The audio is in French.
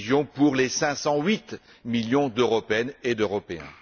pour les 508 millions d'Européennes et d'Européens.